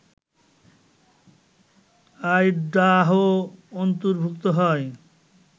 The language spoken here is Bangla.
আইডাহো অন্তর্ভুক্ত হয়